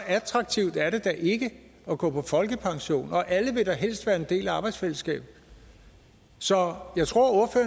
attraktivt er det da ikke at gå på folkepension og alle vil da helst være en del af et arbejdsfællesskab så jeg tror